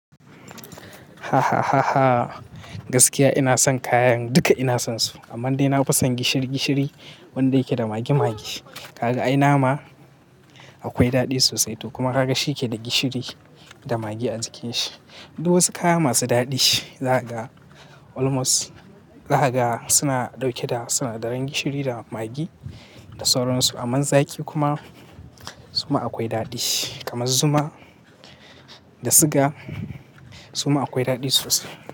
Gaskiya ina son kayan duka ina son su amma dai na fi son gishiri gishiri wanda yake da magi magi. Ka ga ai nama akwai daɗi sosai to kuma ka ga shi yake da gishiri da magi a jikin shi. Duk wasu kaya masu daɗi zakaga almost zakaga suna dauke da suna daran gishiri da magi da sauransu. Aman zaki kuma suma akwai daɗi kamar zuma da siga suma akwai daɗi sosai.